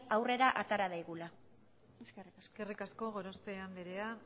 aurrera atara daigula eskerrik asko eskerrik asko gorospe andrea